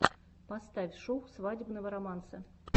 поставь шоу свадебного романса